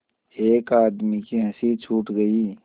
एक आदमी की हँसी छूट गई